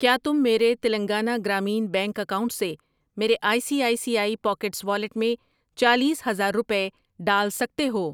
ٔکیا تم میرے Telangana Grameen bank account سے میرے I C I C I pockets wallet میں چالیس ہزار روپے ڈال سکتے ہو؟